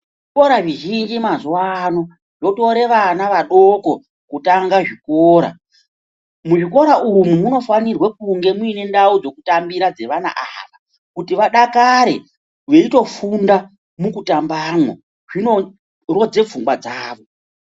Zvikora zvizhinji mazuvano zvotora vana vadoko kutanga zvikora, muzvikora umwu munofanira kunge muine ndau dzekutambira dzevana ava kuti vadakare veitofunda mukutambamwo zvinorodze pfungwa dzavo.